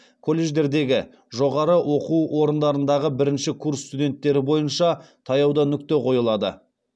колледждердегі жоғары оқу орындарындағы бірінші курс студенттері бойынша таяуда нүкте қойылады